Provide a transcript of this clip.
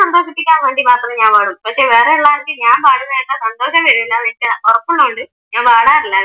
സന്തോഷിപ്പിക്കാൻ വേണ്ടി മാത്രേ ഞാൻ പാടു, പക്ഷെ വേറെ ഉള്ളവർക്ക് ഞാൻ പാടുന്നത് കേട്ടാൽ സന്തോഷം വരില്ലാന്നു എനിക്ക് ഉറപ്പുള്ളത് കൊണ്ട് ഞാൻ പാടാറില്ല.